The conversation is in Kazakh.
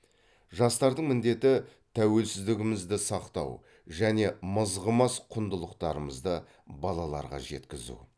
жастардың міндеті тәуелсіздігімізді сақтау және мызғымас құндылықтарымызды балаларға жеткізу